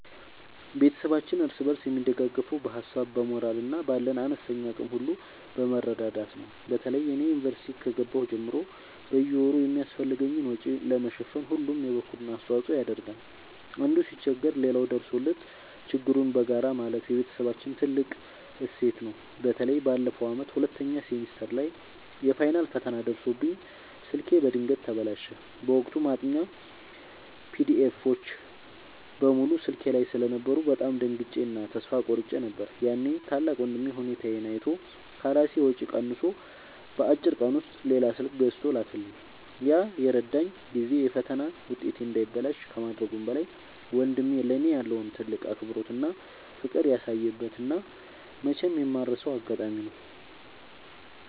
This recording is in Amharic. ቤተሰባችን እርስ በርስ የሚደጋገፈው በሀሳብ፣ በሞራል እና ባለን አነስተኛ አቅም ሁሉ በመረዳዳት ነው። በተለይ እኔ ዩኒቨርሲቲ ከገባሁ ጀምሮ በየወሩ የሚያስፈልገኝን ወጪ ለመሸፈን ሁሉም የበኩሉን አስተዋጽኦ ያደርጋል። አንዱ ሲቸገር ሌላው ደርሶለት ችግሩን በጋራ ማለፍ የቤተሰባችን ትልቅ እሴት ነው። በተለይ ባለፈው ዓመት ሁለተኛ ሴሚስተር ላይ የፋይናል ፈተና ደርሶብኝ ስልኬ በድንገት ተበላሸ። በወቅቱ ማጥኛ ፒዲኤፎች (PDFs) በሙሉ ስልኬ ላይ ስለነበሩ በጣም ደንግጬ እና ተስፋ ቆርጬ ነበር። ያኔ ታላቅ ወንድሜ ሁኔታዬን አይቶ ከራሱ ወጪ ቀንሶ በአጭር ቀን ውስጥ ሌላ ስልክ ገዝቶ ላከልኝ። ያ የረዳኝ ጊዜ የፈተና ውጤቴ እንዳይበላሽ ከማድረጉም በላይ፣ ወንድሜ ለእኔ ያለውን ትልቅ አክብሮትና ፍቅር ያሳየበት እና መቼም የማልረሳው አጋጣሚ ነው።